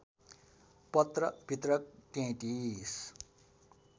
पत्र वितरक ३३